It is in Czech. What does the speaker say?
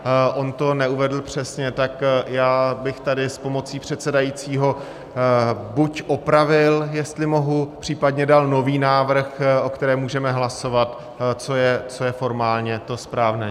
On to neuvedl přesně, tak já bych tady s pomocí předsedajícího buď opravil, jestli mohu, případně dal nový návrh, o kterém můžeme hlasovat, co je formálně to správné.